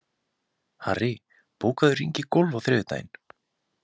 Harry, bókaðu hring í golf á þriðjudaginn.